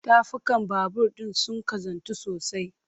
Tafukan babur ɗin sun ƙazantu sosai.